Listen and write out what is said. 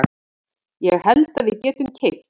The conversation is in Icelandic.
Ég held að við getum keypt.